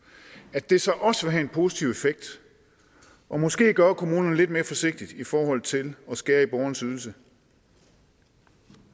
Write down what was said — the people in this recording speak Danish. at det så også vil have en positiv effekt og måske gøre kommunen lidt mere forsigtig i forhold til at skære i borgernes ydelser